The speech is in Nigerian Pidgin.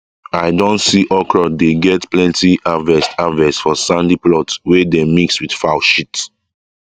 i don see okra dey get plenty harvest harvest for sandy plots wey dey mix with foul shit